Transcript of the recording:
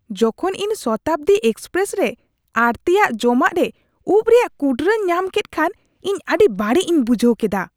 ᱡᱚᱠᱷᱚᱱ ᱤᱧ ᱥᱚᱛᱟᱵᱫᱤ ᱮᱠᱥᱯᱨᱮᱥ ᱨᱮ ᱟᱹᱲᱛᱤᱭᱟᱱ ᱡᱚᱢᱟᱜ ᱨᱮ ᱩᱯ ᱨᱮᱭᱟᱜ ᱠᱩᱴᱨᱟᱹᱧ ᱧᱟᱢ ᱠᱮᱫ ᱠᱷᱟᱱ ᱤᱧ ᱟᱹᱰᱤ ᱵᱟᱹᱲᱤᱡ ᱤᱧ ᱵᱩᱡᱷᱟᱹᱣ ᱠᱮᱫᱟ ᱾